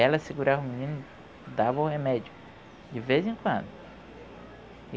Ela segurava o menino, dava o remédio, de vez em quando.